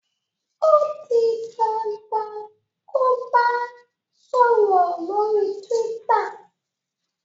o dì dandan kò bá sòrò lórí twitter!